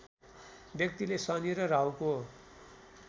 व्यक्तिले शनि र राहुको